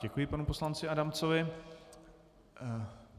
Děkuji panu poslanci Adamcovi.